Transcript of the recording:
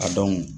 A dɔn